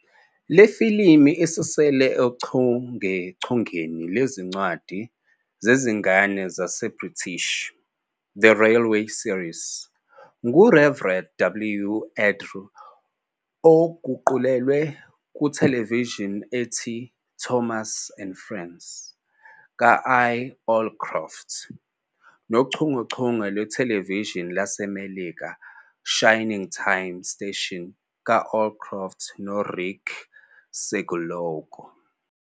Le filimu isuselwe ochungechungeni lwezincwadi zezingane zase-British "The Railway Series" ngu-Reverend W. Awdry, eguqulelwe kuthelevishini ethi "Thomas and Friends" ka- I-Allcroft, nochungechunge lwethelevishini lwaseMelika "Shining Time Station" ka-Allcroft no-Rick Siggelkow.